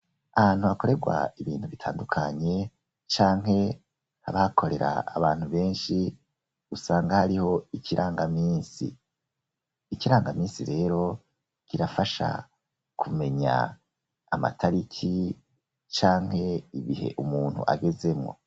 Ahantu hakorerwa ibintu bitandukanye canke habakorera abantu beshi usanga hariho ikirangaminsi, ikirangaminsi rero kirafasha kumenya amatariki canke ibihe umuntu agezemwo